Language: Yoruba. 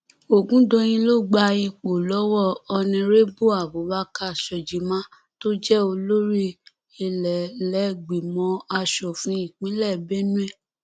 ọgùndọyìn ló gba ipò lọwọ onírèbù abubakar shojiman tó jẹ olórí ìlẹlẹgbìmọ asòfin ìpínlẹ benue